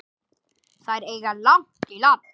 Þær eiga langt í land.